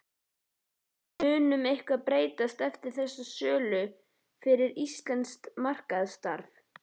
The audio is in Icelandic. En mun eitthvað breytast eftir þessa sölu fyrir íslenskt markaðsstarf?